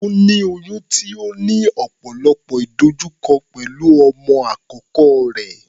Ó ní oyún tó ní ọ̀pọ̀lọpọ̀ ìdojúkọ pẹ̀lú ọmọ àkọ́kọ́ rẹ̀.